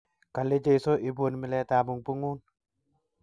Kale Jesu, ibun miletabung�un